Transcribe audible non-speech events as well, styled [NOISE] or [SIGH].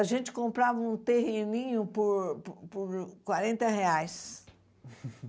A gente comprava um terreninho por por quarenta reais. [LAUGHS]